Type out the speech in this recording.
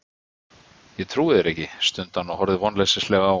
Ég trúi þér ekki, stundi hann og horfði vonleysislega á